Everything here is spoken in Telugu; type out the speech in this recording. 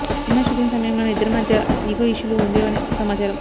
సినిమా షూటింగ్ సమయంలోనే ఇద్దరి మధ్య ఇగో ఇష్యూలు ఉండేవని సమాచారం